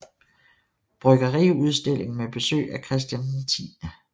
Bryggeriudstilling med besøg af Christian X